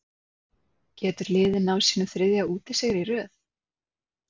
Getur liðið náð sínum þriðja útisigri í röð?